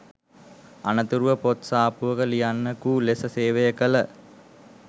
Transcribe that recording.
අනතුරුව පොත් සාප්පුවක ලියන්නකු ලෙස සේවය කළ